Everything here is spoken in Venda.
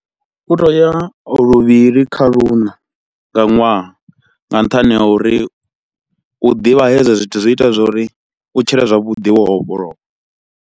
U tea u ya luvhili kha luṋa nga ṅwaha, nga nṱhani ha uri u ḓivha hezwo zwithu zwi ita zwori u tshile zwavhuḓi wo vhofholowa.